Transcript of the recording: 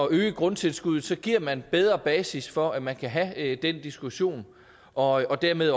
øge grundtilskuddet giver man bedre basis for at man kan have den diskussion og dermed